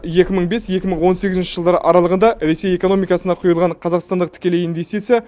екі мың бес екі мың он сегізінші жылдар аралығында ресей экономикасына құйылған қазақстандық тікелей инвестиция